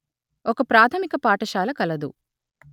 ఒక ప్రాథమిక పాఠశాల కలదు